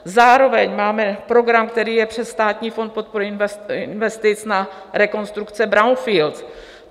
Zároveň máme program, který je přes Státní fond podpory investic na rekonstrukce brownfieldů.